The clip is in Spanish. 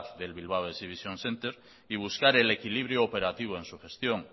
del bilbao exhibition centre y buscar el equilibrio operativo en su gestión